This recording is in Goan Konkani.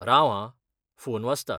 राव हां, फोन वाजता.